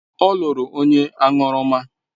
Ọ lụrụ onye aṅụrụma.